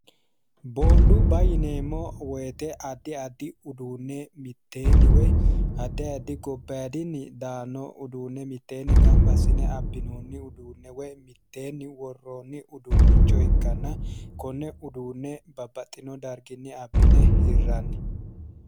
Booniddubba yineemmo woyte addi addi uduunne miteenni woy addi addi gobaayidinni daanno uduune miteenni ganibba assine abinoonni uduunne woy miteenni worroonni uduunicho ikkanna konne uduunne babbaxino dariginni abbine hirranni